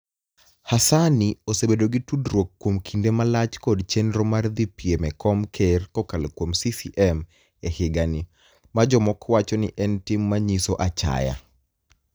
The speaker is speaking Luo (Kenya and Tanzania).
HaSaani osebedo gi tudruok kuom kinide malach kod cheniro mar dhi piem e kom ker kokalo kuom CCM e higanii, ma jomoko wacho nii eni tim ma niyiso achaya.